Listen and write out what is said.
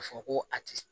A fɔ ko a ti